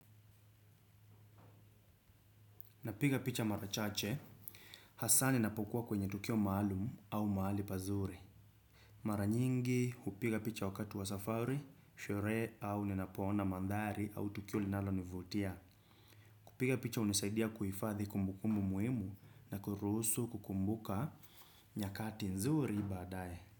Napiga picha mara chache, hasa ninapokuwa kwenye tukio maalum au mahali pazuri. Maranyingi, hupiga picha wakati wa safari, sherehe au ninapoona maandhari au tukio linalo nivutia. Kupiga picha hunisaidia kuhifadhi kumbukumbu muhimu na kurusu kukumbuka nyakati nzuri baadae.